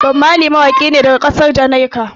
Bob Marley mawaƙi ne daga ƙasar Jamaika.